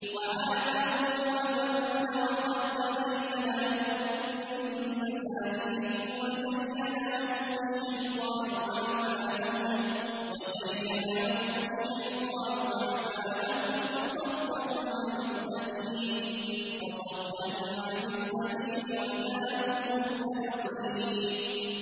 وَعَادًا وَثَمُودَ وَقَد تَّبَيَّنَ لَكُم مِّن مَّسَاكِنِهِمْ ۖ وَزَيَّنَ لَهُمُ الشَّيْطَانُ أَعْمَالَهُمْ فَصَدَّهُمْ عَنِ السَّبِيلِ وَكَانُوا مُسْتَبْصِرِينَ